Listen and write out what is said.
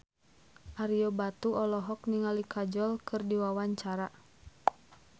Ario Batu olohok ningali Kajol keur diwawancara